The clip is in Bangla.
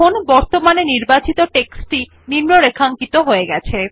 দেখুনবর্তমানে নির্বাচিত টেক্সট নিম্নরেখাঙ্কিত হয়ে গেছে